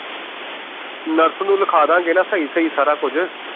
nurse ਨੂੰ ਲਿਖਾ ਦਾਂਗੇ ਨਾ ਸਹੀ ਸਹੀ ਸਾਰਾ ਕੁਛ